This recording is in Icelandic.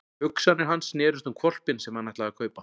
Hugsanir hans snerust um hvolpinn sem hann ætlaði að fá að kaupa.